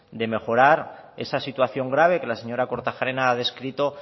de mejorar esa situación grave que la señora kortajarena ha descrito